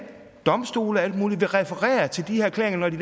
domstole og alt muligt andet vil referere til de erklæringer når de